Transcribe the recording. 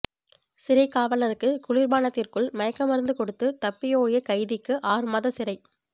சிறைக்காவலருக்கு குளிர்பானத்திற்குள் மயக்க மருந்து கொடுத்து தப்பியோடிய கைதிக்கு ஆறுமாத சிறை